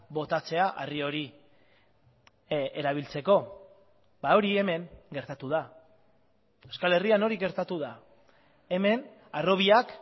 botatzea harri hori erabiltzeko hori hemen gertatu da euskal herrian hori gertatu da hemen harrobiak